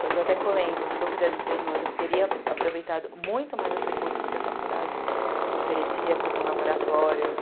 Hoje eu até comento, se eu fizesse esse pê eme hoje, eu teria aproveitado muito mais os recursos que a faculdade oferecia como laboratórios.